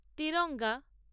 Tiranga